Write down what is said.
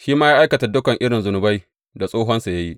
Shi ma ya aikata dukan irin zunubai da tsohonsa ya yi.